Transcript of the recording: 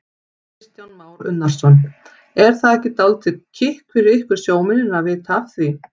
Kristján Már Unnarsson: Er það ekki dálítið kikk fyrir ykkur sjómennina að vita af því?